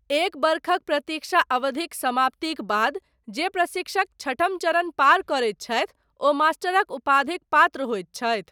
एक वर्षक प्रतीक्षा अवधिक समाप्तिक बाद, जे प्रशिक्षक छठम चरण पार करैत छथि, ओ मास्टरक उपाधिक पात्र होइत छथि।